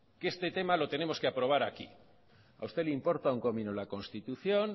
que este tema lo tenemos que aprobar aquí a usted le importa un comino la constitución